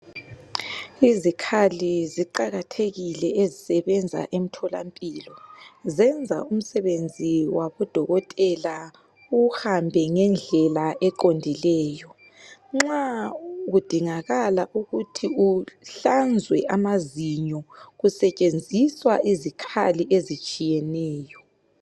Izikhali ziqakathekile ezisebenza emtholampilo .Zenza umsebenzi wabo dokotela uhambe ngendlela eqondileyo. Nxa kudingakala ukuthi uhlanzwe amazinyo .Kusetshenziswa izikhali ezitshiyeneyo .